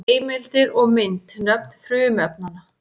Heimildir og mynd: Nöfn frumefnanna.